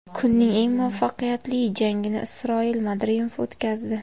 Kunning eng muvaffaqiyatli jangini Isroil Madrimov o‘tkazdi.